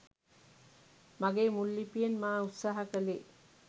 මගේ මුල් ලිපියෙන් මා උත්සාහ කළේ